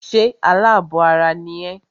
Ṣé alábọ̀ ara ni ẹ́?